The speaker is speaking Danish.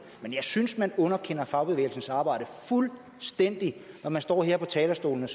men jeg synes man underkender fagbevægelsens arbejde fuldstændig når man står her på talerstolen og